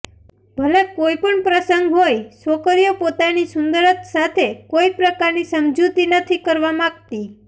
ભલે કોઈપણ પ્રસંગ હોય છોકરીઓ પોતાની સુંદરત સાથે કોઈ પ્રકારની સમજૂતી નથી કરવા માંગતી